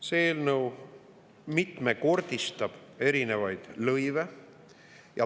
See eelnõu mitmekordistab erinevaid lõive.